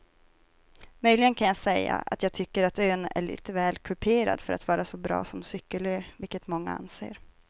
Möjligen kan jag säga att jag tycker att ön är lite väl kuperad för att vara så bra som cykelö vilket många anser.